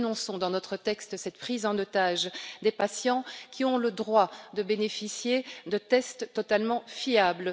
Nous dénonçons, dans notre texte, cette prise en otage des patients, qui ont le droit de bénéficier de tests totalement fiables.